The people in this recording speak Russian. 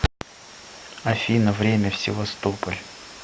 афина время в севастополь